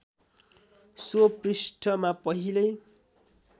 so पृष्ठमा पहिलै